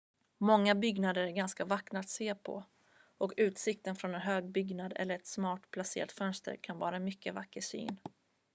många byggnader är ganska vackra att se på och utsikten från en hög byggnad eller ett smart placerat fönster kan vara en mycket vacker syn